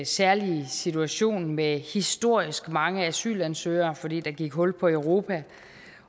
særlig situation med historisk mange asylansøgere fordi der gik hul på europa